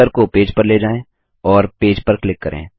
cursor को page पर ले जाएँ और पेज पर क्लिक करें